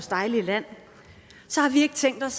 dejlige land har vi ikke tænkt os